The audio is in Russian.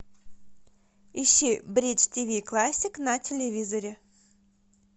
ищи бридж ти ви классик на телевизоре